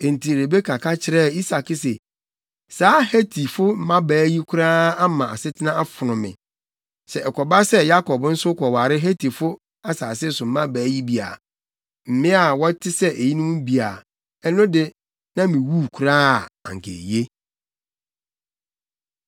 Enti Rebeka ka kyerɛɛ Isak se, “Saa Hetifo mmabaa yi koraa ama asetena afono me. Sɛ ɛkɔba sɛ Yakob nso kɔware Hetifo asase so mmabaa yi bi a, mmea a wɔte sɛ eyinom bi a, ɛno de, na miwuu koraa a, anka eye.”